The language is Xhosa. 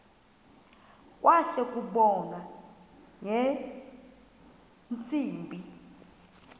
kwase kubonwa ngeentsimbi